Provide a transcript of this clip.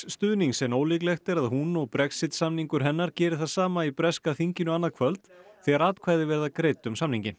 stuðnings en ólíklegt er að hún og Brexit samningur hennar geri það í breska þinginu annað kvöld þegar atkvæði verða greidd um samninginn